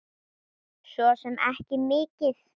Svo sem ekki mikið.